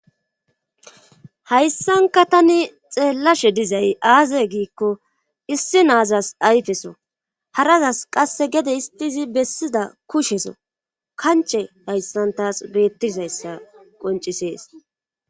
hayssanka tani xeellashe dizay aaze giikko issi naazas ayfeso harazas qasse gede istiizi bessida kusheso kanche hayssantas beettizayssa qoncisees